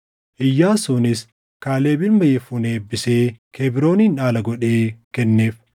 Iyyaasuunis Kaaleb ilma Yefunee eebbisee Kebroonin dhaala godhee kenneef.